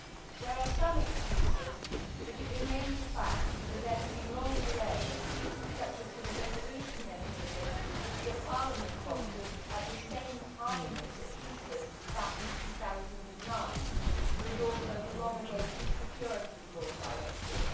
There are some excuses, but it remains a fact that there have been long delays, such as for the resolution mechanism which Parliament wanted at the same time as the ESAs back in 2009, and also the long awaited Securities Law Directive.